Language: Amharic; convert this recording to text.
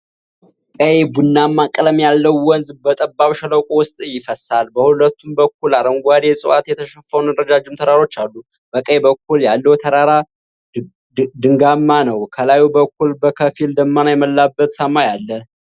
ቀይ-ቡናማ ቀለም ያለው ወንዝ በጠባብ ሸለቆ ውስጥ ይፈሳል። በሁለቱም በኩል አረንጓዴ ዕፅዋት የተሸፈኑ ረጃጅም ተራሮች አሉ። በቀኝ በኩል ያለው ተራራ ድንጋያማ ነው። ከላይ በኩል በከፊል ደመና የሞላበት ሰማይ አለ፡፡